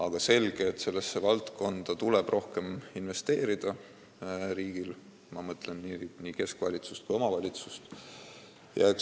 On selge, et sellesse valdkonda tuleb riigil rohkem investeerida, ma mõtlen nii keskvalitsust kui ka omavalitsust.